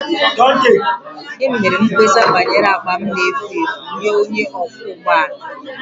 Emere m mkpesa banyere akpa m na-efu efu nye onye ọkwọ ụgbọ ala